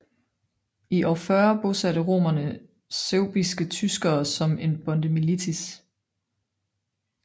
I år 40 bosatte romerne suebiske tyskere som en bondemilits